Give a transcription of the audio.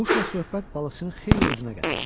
Quşla söhbət balıqçını xeyli özünə gətirdi.